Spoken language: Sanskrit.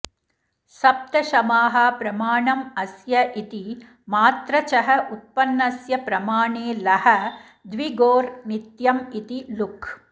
सप्तशमाः प्रमाणम् अस्य इति मात्रचः उत्पन्नस्य प्रमाणे लः द्विगोर् नित्यम् इति लुक्